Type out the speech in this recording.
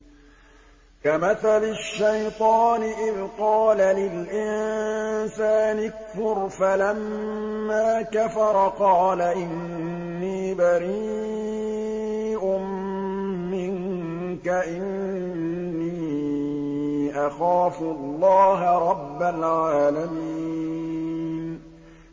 كَمَثَلِ الشَّيْطَانِ إِذْ قَالَ لِلْإِنسَانِ اكْفُرْ فَلَمَّا كَفَرَ قَالَ إِنِّي بَرِيءٌ مِّنكَ إِنِّي أَخَافُ اللَّهَ رَبَّ الْعَالَمِينَ